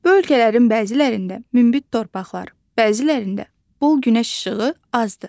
Bu ölkələrin bəzilərində münbit torpaqlar, bəzilərində bol günəş işığı azdır.